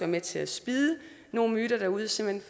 med til at spidde nogle myter derude simpelt